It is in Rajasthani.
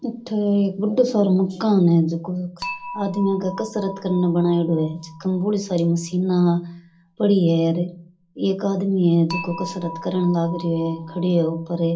इथे एक बड़ो सारों मकान है झको आदमी के कसरत करने बनायेडॉ है ईम बोली सारी मशीना पड़ी है एक आदमी है जिको कसरत करेन लाग रो है खड़यो है ऊपर।